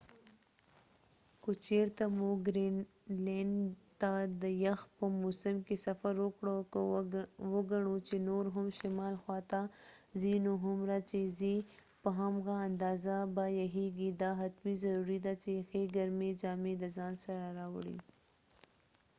که چېرته مو ګرینلینډ ته د یخ په موسم کې سفر وکړ که وګڼو چې نور هم شمال خواته ځی نو هومره چې ځی په همغه اندازه به یخیږی دا حتمی ضروری ده چې ښی ګرمی جامی د ځان سره راوړی